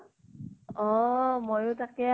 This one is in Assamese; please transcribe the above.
অহ ময়ো তাকে